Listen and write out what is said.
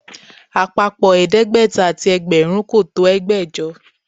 Àpapọ̀ ẹ̀ẹ́dẹ́gbẹ̀ta àti ẹgbẹ̀rún kò tó ẹgbẹ̀jọ